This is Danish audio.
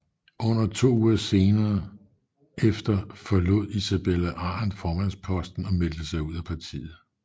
Under to uger senere efter forlod Isabella Arendt formandsposten og meldte sig ud af partiet